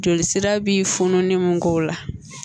Joli sira bi funun mun k'o la